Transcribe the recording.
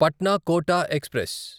Patna Kota express